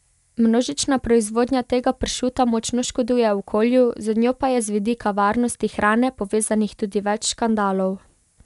Množična proizvodnja tega pršuta močno škoduje okolju, z njo pa je z vidika varnosti hrane povezanih tudi več škandalov.